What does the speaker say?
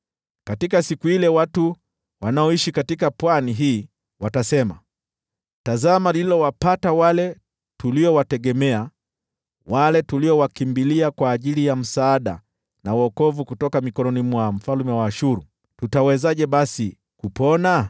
Katika siku ile watu wanaoishi katika pwani hii watasema, ‘Tazama lililowapata wale tuliowategemea, wale tuliowakimbilia kwa msaada na wokovu kutoka mikononi mwa mfalme wa Ashuru! Tutawezaje basi kupona?’ ”